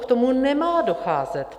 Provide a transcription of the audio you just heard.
K tomu nemá docházet.